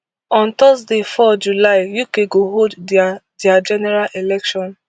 on thursday four july uk go hold dia dia general election